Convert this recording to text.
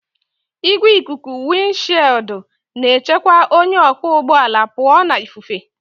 Igwe ikuku wịndshịịụldụ na-echekwa onye ọkwọ ụgbọ ala pụọ na ifufe